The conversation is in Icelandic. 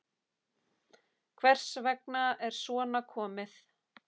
Hvers vegna er svona komið?